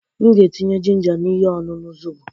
M ga-etinye ginger na ihe ọṅụṅụ zọbọ.